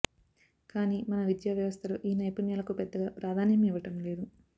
కానీ మన విద్యా వ్యవస్థలో ఈ నైపుణ్యాలకు పెద్దగా ప్రాధాన్యం ఇవ్వడంలేదు